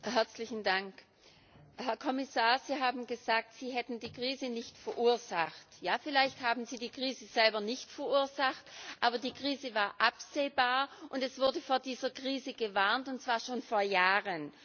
Frau Präsidentin! Herr Kommissar, Sie haben gesagt, Sie hätten die Krise nicht verursacht. Ja, vielleicht haben Sie die Krise selber nicht verursacht, aber die Krise war absehbar, und es wurde vor dieser Krise gewarnt, und zwar schon vor Jahren.